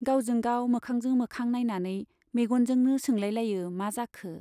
गावजों गाव मोखांजों मोखां नाइनानै मेग'नजोंनो सोंलायलायो मा जाखो ?